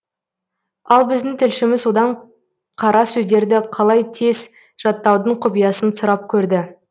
ал біздің тілшіміз одан қара сөздерді қалай тез жаттаудың құпиясын сұрап көрді